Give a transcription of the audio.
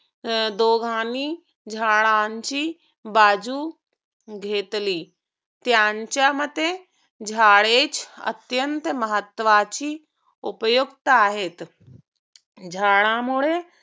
दोघांनी झाडांची बाजू घेतली. त्यांच्यामते झाडे अत्यंत महत्वाची व उपयुक्त आहेत. झाडा मुळे